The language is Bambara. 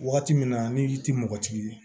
Waati min na ni i tɛ mɔgɔ tigi ye